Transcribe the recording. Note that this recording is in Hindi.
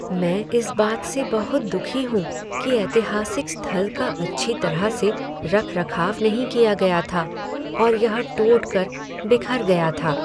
मैं इस बात से बहुत दुखी हूँ कि ऐतिहासिक स्थल का अच्छी तरह से रखरखाव नहीं किया गया था और यह टूट कर बिखर गया था।